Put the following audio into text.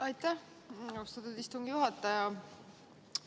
Aitäh, austatud istungi juhataja!